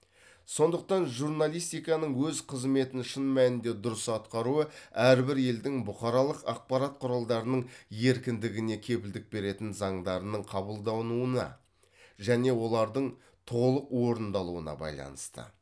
сондықтан журналистиканың өз қызметін шын мәнінде дұрыс атқаруы әрбір елдің бұқаралық ақпарат құралдарының еркіндігіне кепілдік беретін заңдарының қабылдануына және олардың толық орындалуына байланысты